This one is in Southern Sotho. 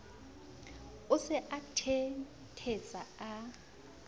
o se a thenthetsa a